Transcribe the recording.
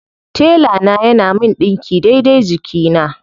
Tela na yana min ɗinki daidai jikina.